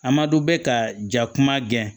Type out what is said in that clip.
A ma dɔn bɛ ka ja kuma gɛn